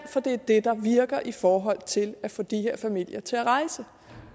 for det er det der virker i forhold til at få de her familier til at rejse